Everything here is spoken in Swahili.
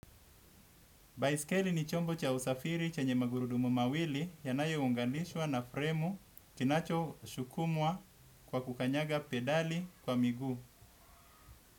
Baiskeli ni chombo cha usafiri chenye magurudumu mawili yanayounganishwa na fremu kinachosukumwa kwa kukanyaga pedali kwa miguu.